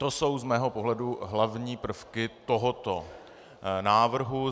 To jsou z mého pohledu hlavní prvky tohoto návrhu.